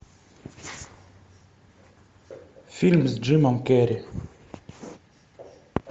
фильм с джимом керри